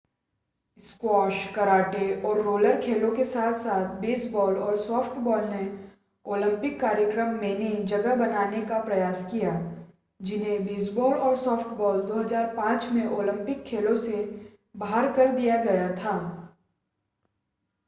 Squash karate और roller खेलों के साथ-साथ बेसबॉल और सॉफ्टबॉल ने ओलंपिक कार्यक्रम मेने जगह बनाने का प्रयास किया जिन्हें बेसबॉल और सॉफ्टबॉल 2005 में ओलंपिक खेलों से बाहर कर दिया गया था।